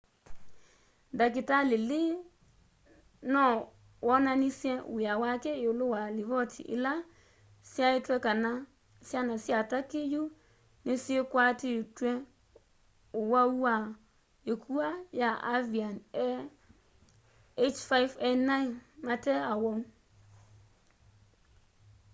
ndakitali lee no wonanisye w'ia wake iulu wa livoti ila syaitye kana syana sya turkey yu nisikwatitw'e ũwau wa ĩkua ya avian a h5n1 mate awau